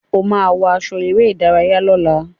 O máa wọ aṣọ eré-ìdárayá lọ́la.